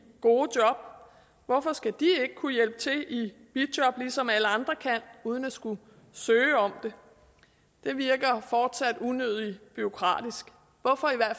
gode job hvorfor skal de ikke kunne hjælpe til i bijob ligesom alle andre kan uden at skulle søge om det det virker fortsat unødig bureaukratisk hvorfor er